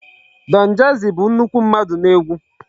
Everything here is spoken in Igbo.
Donjazzy bụ nnukwu mmadụ n'egwu.